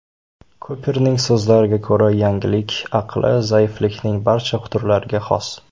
Kuperning so‘zlariga ko‘ra, yangilik aqli zaiflikning barcha turlariga xos.